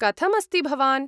कथमस्ति भवान्?